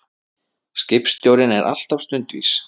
Skipstjórinn er alltaf stundvís.